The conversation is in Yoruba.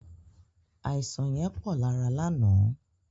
Àisàn yẹn pọ̀ lára lánàá.